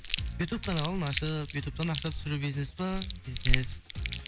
ютубтан алаң ашып ютубтан ақша түсіру бизнес па бизнес